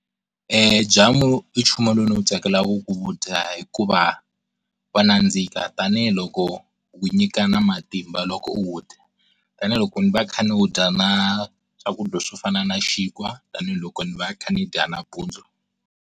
Eeh, jamu i nchumu lowu ndzi wu tsakelaka ku wu dya hikuva wa nandzika, tanihiloko wu nyika na matimba loko u wu dya tanihiloko ni va kha ni wu dya na swakudya swo fana na xinkwa tanihiloko ni va kha ni dya nampundzu.